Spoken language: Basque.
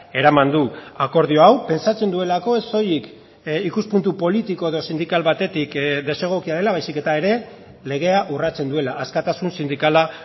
eraman du akordio hau pentsatzen duelako ez soilik ikuspuntu politiko edo sindikal batetik desegokia dela baizik eta ere legea urratzen duela askatasun sindikala